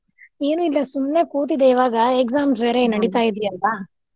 ಏನು ಇಲ್ಲಾ ಸುಮ್ನೆ ಕೂತಿದ್ದೆ ಇವಾಗಾ exams ಬೇರೆ ನಡೀತಾ ಇದೆ ಅಲ್ವಾ?